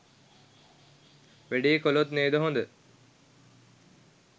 වැඩේ කලොත් නේද හොඳ?